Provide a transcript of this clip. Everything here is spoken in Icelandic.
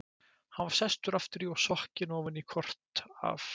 Hann var sestur aftur og sokkinn ofan í kort af